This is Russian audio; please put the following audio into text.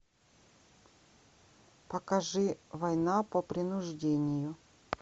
покажи война по принуждению